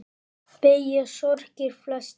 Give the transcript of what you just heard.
Beygja sorgir flesta.